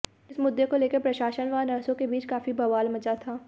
इस मुद्दे को लेकर प्रशासन व नर्सों के बीच काफी बवाल मचा था